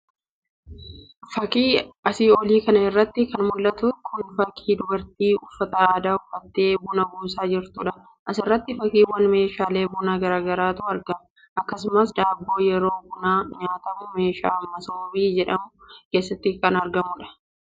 Fakii asii olii kana irratti kan mul'atu kun fakii dubartii uffata aadaa uffattee buna buusaa jirtuudha. asirratti fakiiwwaan meeshaalee bunaa gara garaatu argama. akkasuma daabboo yeroo bunaa nyaatamu meeshaa masoobii jedhamu keessatti kan argamudha.